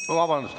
Vabandust!